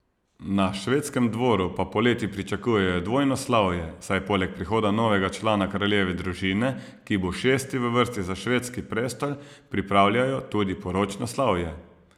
Na švedskem dvoru pa poleti pričakujejo dvojno slavje, saj poleg prihoda novega člana kraljeve družine, ki bo šesti v vrsti za švedski prestol, pripravljajo tudi poročno slavje.